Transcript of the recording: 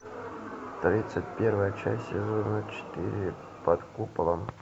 тридцать первая часть сезона четыре под куполом